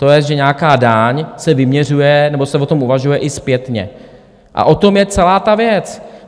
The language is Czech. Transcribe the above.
To je, že nějaká daň se vyměřuje, nebo se o tom uvažuje, i zpětně, a o tom je celá ta věc.